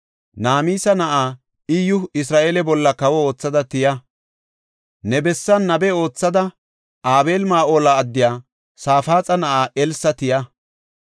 Namisa na7aa, Iyyu Isra7eele bolla kawo oothada tiya. Ne bessan nabe oothada Abeel-Mahoola addiya Safaaxa na7aa Elsa tiya.